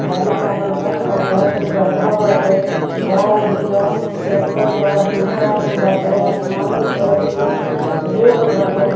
गाड़ी लागल बा कचरा के गढ़ा बाटे गाय बिया ट्रेक्टर बा दुकान बाटे आसमानी कलर के रोड बाटे।